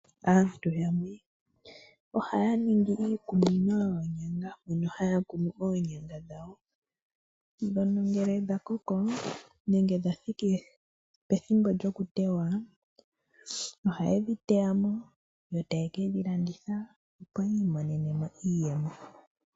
Aantu yamwe ohaya ningi iikunino yoonyanga, mono haya kunu oonyanga dhawo ndhono ngele dha koko nenge dha thiki pethimbo lyokuteywa ohaye dhi teya mo yo taye ke dhi landitha, opo yi imonene mo iiyemo.